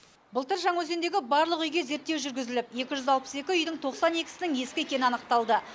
былтыр жаңаөзендегі барлық үйге зерттеу жүргізіліп екі жүз алпыс екі үйдің тоқсан екісінің ескі екені анықталды